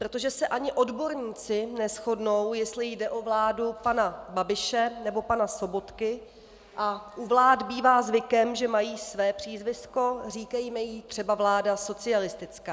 Protože se ani odborníci neshodnou, jestli jde o vládu pana Babiše, nebo pana Sobotky, a u vlád bývá zvykem, že mají své přízvisko, říkejme jí třeba vláda socialistická.